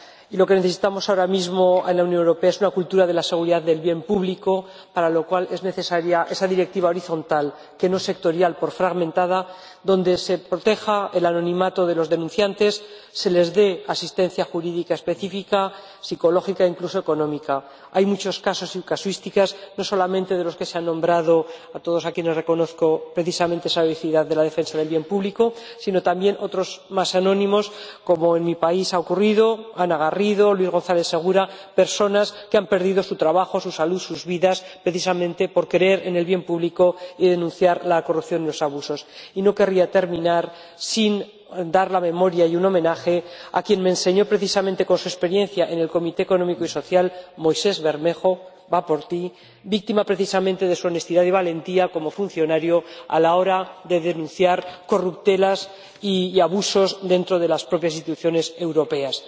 Y lo que necesitamos ahora mismo en la Unión Europea es una cultura de la seguridad del bien público, para lo cual es necesaria esa Directiva horizontal, que no sectorial por fragmentada, mediante la que se proteja el anonimato de los denunciantes y se les dé asistencia jurídica específica, psicológica e incluso económica. Hay muchos casos sin casuísticas, no solamente los que se han nombrado —a todos los cuales reconozco precisamente esa heroicidad de la defensa del bien público—, sino también otros más anónimos, como ha ocurrido en mi país Ana Garrido, Luis González Segura, personas que han perdido su trabajo, su salud, sus vidas, precisamente por creer en el bien público y denunciar la corrupción y los abusos. Y no querría terminar sin recordar y rendir homenaje a quien, con su experiencia en el Comité Económico y Social Europeo, Moisés Bermejo —va por ti—, fue víctima precisamente de su honestidad y valentía como funcionario a la hora de denunciar corruptelas y abusos dentro de las propias instituciones europeas.